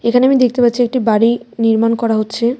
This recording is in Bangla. এখানে আমি দেখতে পাচ্ছি একটি বাড়ি নির্মাণ করা হচ্ছে.